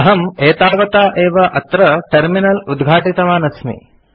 अहम् एतावता एव अत्र टर्मिनल उद्घाटितवान् अस्मि